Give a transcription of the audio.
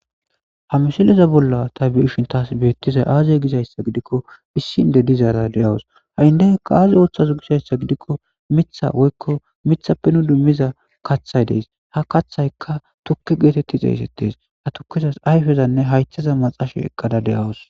ha misileza bolla ta biishin taas beettizay aazey gizayssa gidikko issinde dizaara de7awus ha7indeykka aazi ooththaz gisayssa gidikko mitha woykko mithappe nu dummiza kaththay dees ha kaththaykka tukke geetetti xeeysettes ha tukkezas ayfezanne haythaza maxashe eqqada de7awus